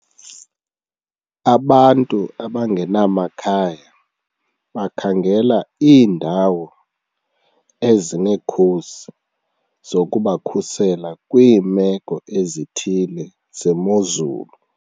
Abantu abangenamakhaya bakhangela iindawo ezinekhusi zokubakhusela kwiimeko ezithile zemozulu.